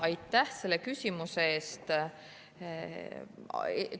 Aitäh selle küsimuse eest!